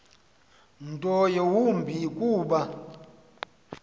nto yawumbi kuba